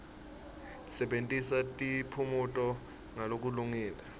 sebentisa tiphumuti ngalokulungile